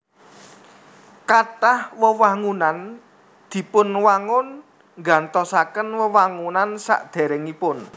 Kathah wewangunan dipunwangun nggantosaken wewangunan sadèrèngipun